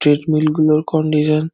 treadmill গুলোর condition --